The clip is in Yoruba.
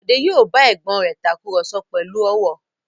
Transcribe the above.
Bọ̀dé yóò bá ẹ̀gbọ́n rẹ̀ takùrọ̀sọ pẹ̀lú ọ̀wọ̀.